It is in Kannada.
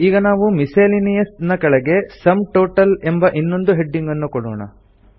ಈಗ ನಾವು ಮಿಸ್ಸೆಲೇನಿಯಸ್ ನ ಕೆಳಗೆ ಸುಮ್ ಟೋಟಲ್ ಎಂಬ ಇನ್ನೊಂದು ಹೆಡಿಂಗ್ ನ್ನು ಕೊಡೋಣ